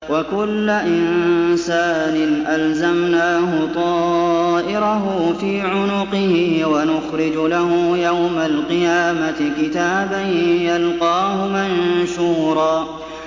وَكُلَّ إِنسَانٍ أَلْزَمْنَاهُ طَائِرَهُ فِي عُنُقِهِ ۖ وَنُخْرِجُ لَهُ يَوْمَ الْقِيَامَةِ كِتَابًا يَلْقَاهُ مَنشُورًا